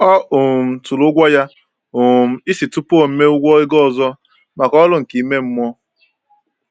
Ọ um tụrụ ụgwọ ya um isi tupu o mee ụgwọ ego ọzọ maka ọrụ nke ime mmụọ.